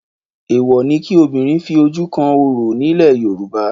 Èèwọ̀ ni kí obìnrin fi ojú kan orò ni ilẹ̀ Yorùbá.